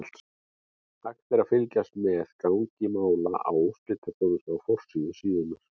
Hægt er að fylgjast með gangi mála á úrslitaþjónustu á forsíðu síðunnar.